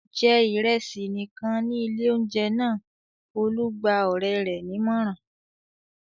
"Jẹ ìrẹsì nìkan ní ilé-oúnjẹ náà!" Olú gba ọ̀rẹ́ rẹ̀ nímọ̀ràn.